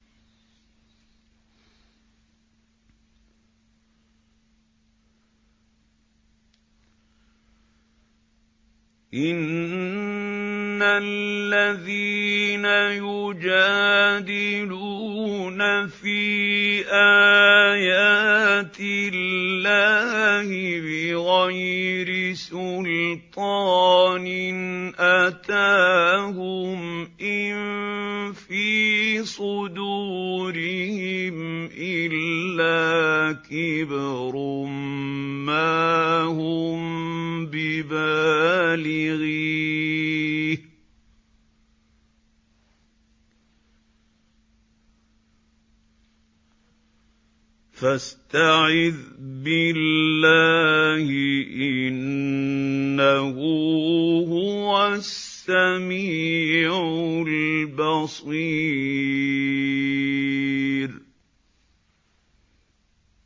إِنَّ الَّذِينَ يُجَادِلُونَ فِي آيَاتِ اللَّهِ بِغَيْرِ سُلْطَانٍ أَتَاهُمْ ۙ إِن فِي صُدُورِهِمْ إِلَّا كِبْرٌ مَّا هُم بِبَالِغِيهِ ۚ فَاسْتَعِذْ بِاللَّهِ ۖ إِنَّهُ هُوَ السَّمِيعُ الْبَصِيرُ